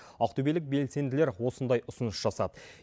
ақтөбелік белсенділер осындай ұсыныс жасады